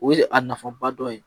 O ye a nafaba dɔ ye